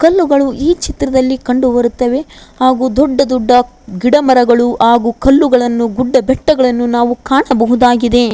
ಕಲ್ಲುಗಳು ಈ ಚಿತ್ರದಲ್ಲಿ ಕಂಡು ಬರುತ್ತವೆ ಹಾಗು ದೊಡ್ಡ ದೊಡ್ಡ ಗಿಡ ಮರಗಳು ಹಾಗು ಕಲ್ಲುಗಳನ್ನು ಗುಡ್ಡ ಬೆಟ್ಟಗಳನ್ನು ನಾವು ಕಾಣಬಹುದಾಗಿದೆ.